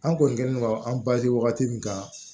An kɔni kɛlen don an wagati min kan